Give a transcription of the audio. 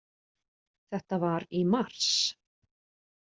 Þetta var í mars.